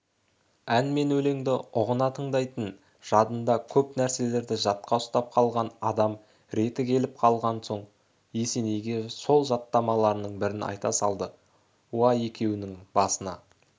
ән мен өлеңді ұғына тыңдайтын жадында көп нәрселерді жатқа ұстап қалған адам реті келіп қалған соқ есенейге сол жаттамаларының бірін айта салды уа екеуіңнің басыңа